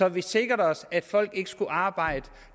at vi sikrede os at folk ikke skal arbejde